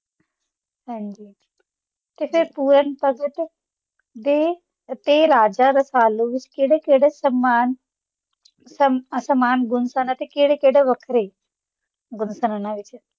ਹਾਂਜੀ ਤੇ ਫਿਰ ਪੁਰਨ ਭਗਤ ਤੇ ਰਾਜਾ ਰਸਾਲੂ ਵਿੱਚ ਕਿਹੜੇ- ਕਿਹੜੇ ਸਮਾਨ ਗੁਣ ਤੇ ਕਿਹੜੇ- ਕਿਹੜੇ ਵੱਖਰੇ ਗੁਣ ਸੀ?